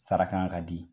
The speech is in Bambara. Sara kan ka di